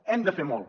hem de fer molt